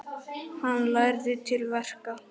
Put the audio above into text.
Hann lærði til verka.